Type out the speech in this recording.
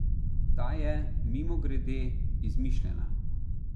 Ta je, mimogrede, izmišljena.